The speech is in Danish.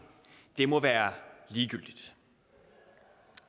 må være ligegyldigt